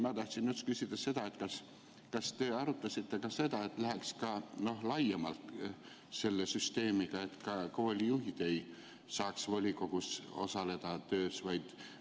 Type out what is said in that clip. Ma tahtsin küsida, kas te arutasite ka seda, et läheks laiemalt selle süsteemiga, et ka koolijuhid ei saaks volikogu töös osaleda.